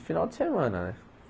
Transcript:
Final de semana, né?